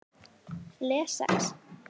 Les Sex